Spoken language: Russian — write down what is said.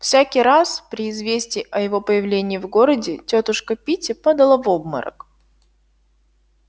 всякий раз при известии о его появлении в городе тётушка питти падала в обморок